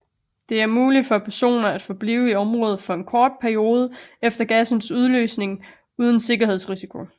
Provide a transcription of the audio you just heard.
Det er muligt for personer at forblive i området for en kort periode efter gassens udløsning uden sundhedsrisiko